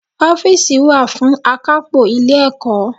Ófììsì wá fún àkápò Ilé ẹ̀kọ́